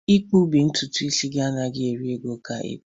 ịkpu ntutu isi gị anaghị eri ego ka ịkpa ya